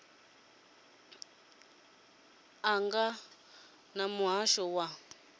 ḽo ṱangana na muhasho wa